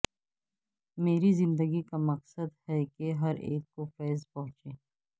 مری زندگی کا مقصد کہ ہر اک کو فیض پہنچے